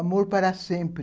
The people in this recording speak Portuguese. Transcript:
Amor para Sempre.